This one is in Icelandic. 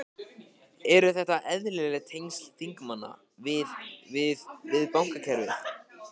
Eru þetta eðlileg tengsl þingmanna við, við, við bankakerfið?